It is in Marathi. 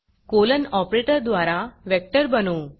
कोलन ऑपरेटर द्वारा वेक्टर बनवू